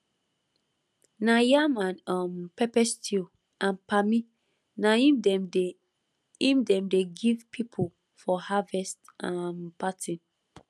na yam and um pepper stew and palmi na im dem dey im dem dey give people for harvest um party